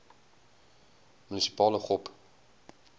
munisipale gop